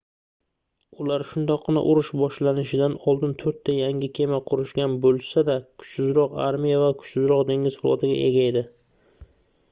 ular shundoqqina urush boshlanishidan oldin toʻrtta yangi kema qurishgan boʻlsa-da kuchsizroq armiya va kuchsizroq dengiz flotiga ega edi